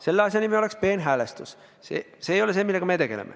Teise asja nimeks oleks peenhäälestus, see ei ole see, millega me tegeleme.